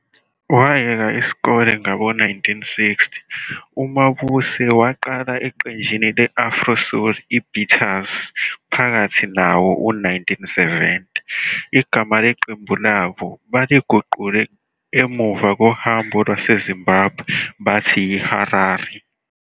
Wayeka isikole ngabo-1960, uMabuse waqala eqenjini le-Afro-soul iBeaters phakathi nawo-1970. Igama leqembu labo baliguqule emuva kohambo lwaseZimbabwe bathi yiHarari.